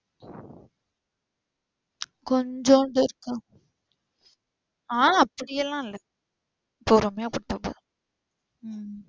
கொஞ்சோண்டு இருக்கு ஆ அப்டி எல்லாம் இல்ல பொறுமையா பண்ணிட்டு